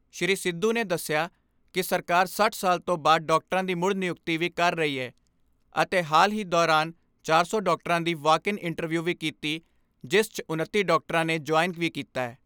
ਸ੍ਰੀ ਸਿੱਧੂ ਨੇ ਦੱਸਿਆ ਕਿ ਸਰਕਾਰ ਸੱਠ ਸਾਲ ਤੋਂ ਬਾਅਦ ਡਾਕਟਰਾਂ ਦੀ ਮੁੜ ਨਿਯੁਕਤੀ ਵੀ ਕਰ ਰਹੀ ਏ ਅਤੇ ਹਾਲ ਹੀ ਦੌਰਾਨ ਚਾਰ ਸੌ ਡਾਕਟਰਾਂ ਦੀ ਵਾਕ ਇਨ ਇੰਟਰਵਿਊ ਵੀ ਕੀਤੀ ਜਿਸ 'ਚ ਉਨੱਤੀ ਡਾਕਟਰਾਂ ਨੇ ਜੁਆਇਨ ਵੀ ਕੀਤੈ।